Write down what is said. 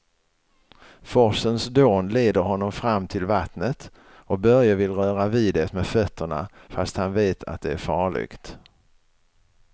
Forsens dån leder honom fram till vattnet och Börje vill röra vid det med fötterna, fast han vet att det är farligt.